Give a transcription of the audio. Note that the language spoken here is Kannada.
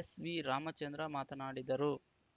ಎಸ್‌ವಿ ರಾಮಚಂದ್ರ ಮಾತನಾಡಿದರು